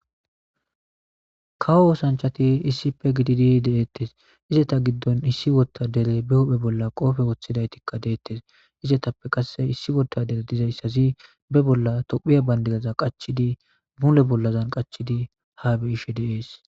kawo osanchati issife gididi deettes izeta giddon issi wottadere be huphe bolla qoofe woththidaytikka deettes izetappe qasse issi wotare dizayssazi be bolla tophiya bandiraza qachidi muule bollazan qachidi ha be'ishe de'ees